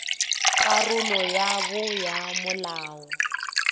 karolo ya bo ya molao